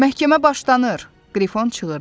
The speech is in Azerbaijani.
Məhkəmə başlanır, Qrifon çığırdı.